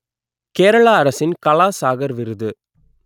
கேரளா அரசின் கலா சாகர் விருது